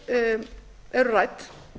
frumvörp eru rædd